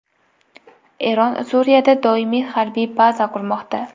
Eron Suriyada doimiy harbiy baza qurmoqda.